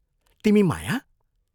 तिमी माया?